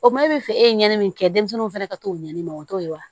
O ma e bɛ fɛ e ye ɲɛnamini min kɛ denmisɛnninw fana ka t'o ɲani o t'o ye wa